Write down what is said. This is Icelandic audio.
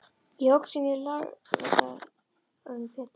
Ég óx inn í lögaldurinn Pétur.